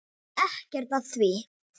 Ekkert að því!